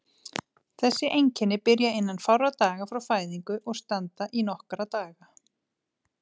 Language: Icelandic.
Þessi einkenni byrja innan fárra daga frá fæðingu og standa í nokkra daga.